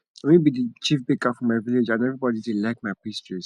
na me be the chief baker for my village and everybody dey like my pastries